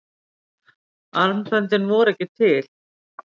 armböndin voru ekki til.